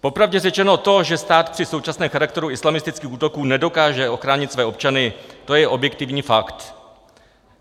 Popravdě řečeno to, že stát při současném charakteru islamistických útoků nedokáže ochránit své občany, to je objektivní fakt.